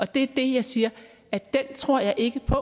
det er det jeg siger at den tror jeg ikke på